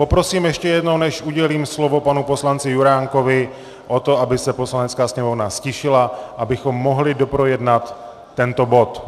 Poprosím ještě jednou, než udělím slovo panu poslanci Juránkovi, o to, aby se Poslanecká sněmovna ztišila, abychom mohli doprojednat tento bod.